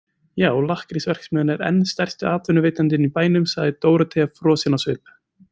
Já, lakkrísverksmiðjan er enn stærsti atvinnuveitandinn í bænum, sagði Dórótea frosin á svip.